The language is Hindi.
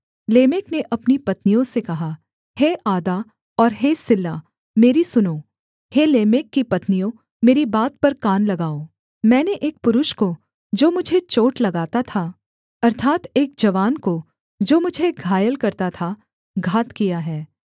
लेमेक ने अपनी पत्नियों से कहा हे आदा और हे सिल्ला मेरी सुनो हे लेमेक की पत्नियों मेरी बात पर कान लगाओ मैंने एक पुरुष को जो मुझे चोट लगाता था अर्थात् एक जवान को जो मुझे घायल करता था घात किया है